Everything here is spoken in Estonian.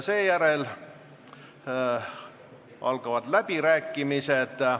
Seejärel algavad läbirääkimised.